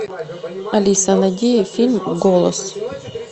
алиса найди фильм голос